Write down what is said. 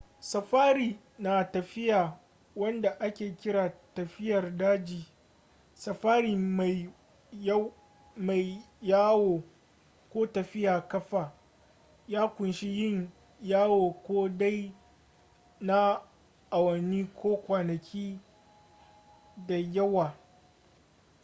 safari na tafiya wanda ake kira tafiyar daji” safari maiyawo” ko tafiya ƙafa” ya ƙunshi yin yawo ko dai na awanni ko kwanaki da yawa